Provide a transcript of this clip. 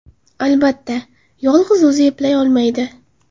Albatta, yolg‘iz o‘zi eplay olmaydi.